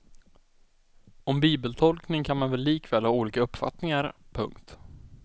Om bibeltolkning kan man likväl ha olika uppfattningar. punkt